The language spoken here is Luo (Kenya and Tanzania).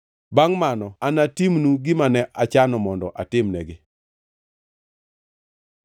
Bangʼ mano anatimnu gima ne achano mondo atimnegi.’ ”